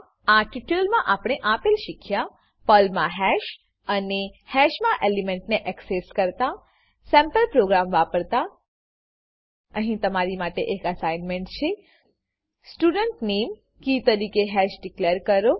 આ ટ્યુટોરીયલમાં આપણે આપેલ શીખ્યા પર્લમા હેશ અને હેશના એલિમેન્ટને એક્સેસ કરતા સેમ્પલ પ્રોગ્રામ વાપરતા અહી તમારા માટે એક એસાઇનમેંટ છે સ્ટુડન્ટ નામે કી તરીકે હેશ ડીકલેર કરો